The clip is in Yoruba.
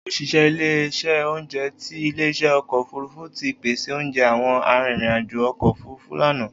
Oṣiṣẹ ile-iṣẹ ounjẹ ti ile-iṣẹ ọkọ ofurufu ti pese ounjẹ awọn aririn ajo ọkọ ofurufu lana.